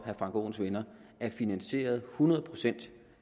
herre frank aaens venner er finansieret hundrede procent